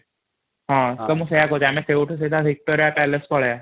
ହଁ ମୁ ସେଇୟା କହୁଛି ଆମ ସେଠୁ ସିଧା ଭିକ୍ଟୋରିଆଲ ପାଳକେ ପଳେଇବା |